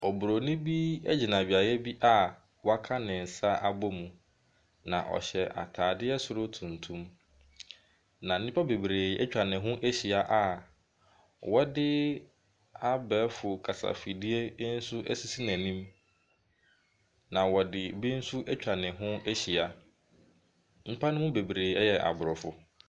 Oburoni bi ɛgyina adwareɛ bi a w'aka ne nsa abɔ mu. Na ɔhyɛ ataadeɛ soro tumtum. Na nnipa bebree atwa ne ho ahyia a wɔde abɛɛfo kasafidie bi nso asisi n'anim. Na wɔde bi nso atwa ne ho ahyia. Nnipa no mu bebree ɛyɛ aborɔfo.